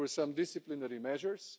There were some disciplinary measures.